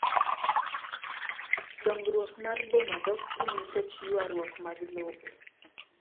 Dongruok mar boma dok piny nikech ywaruok mag lope.